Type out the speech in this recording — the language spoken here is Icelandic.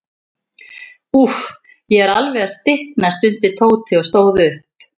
Úff, ég er alveg að stikna stundi Tóti og stóð upp.